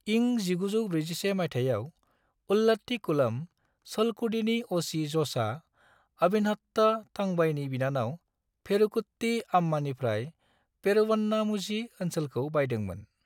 इं 1941 माइथायाव, उल्लाट्टीकुलम, चलकुडीनि अ'.सि. ज'सआ आविनहाट्ट थंबाईनि बिनानाव पेरुकुट्टी आम्मानिफ्राय पेरूवन्नामुझी ओसनोलखौ बायदोंमोन।